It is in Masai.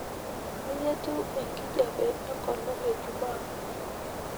kai etiu enkijape engolon e jumaa